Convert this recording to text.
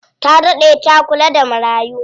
Ta daɗe ta kula da marayu.